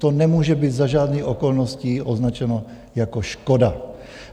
To nemůže být za žádných okolností označeno jako škoda.